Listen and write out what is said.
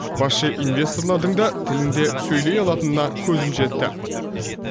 басшы инвесторлардың да тілінде сөйлей алатынына көзім жетті